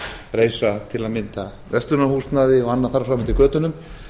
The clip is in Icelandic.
reisa til að mynda verslunarhúsnæði og annað þar fram eftir götunum